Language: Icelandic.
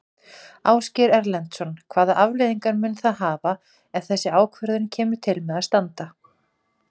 Ásgeir Erlendsson: Hvaða afleiðingar mun það hafa ef þessi ákvörðun kemur til með að standa?